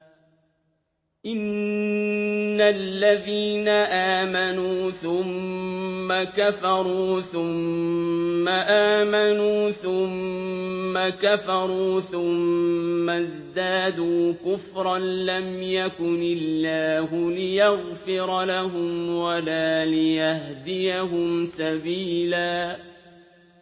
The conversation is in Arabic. إِنَّ الَّذِينَ آمَنُوا ثُمَّ كَفَرُوا ثُمَّ آمَنُوا ثُمَّ كَفَرُوا ثُمَّ ازْدَادُوا كُفْرًا لَّمْ يَكُنِ اللَّهُ لِيَغْفِرَ لَهُمْ وَلَا لِيَهْدِيَهُمْ سَبِيلًا